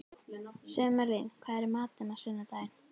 Sumarlín, hvað er í matinn á sunnudaginn?